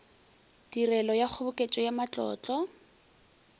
tirelo ya kgoboketšo ya matlotlo